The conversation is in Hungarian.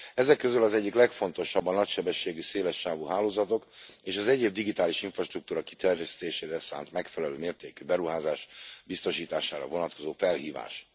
Ezek közül az egyik legfontosabb a nagysebességű szélessávú hálózatok, és az egyéb digitális infrastruktúra kiterjesztésére szánt, megfelelő mértékű beruházás biztosítására vonatkozó felhívás.